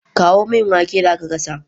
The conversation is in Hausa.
Kawo min waken da aka gasa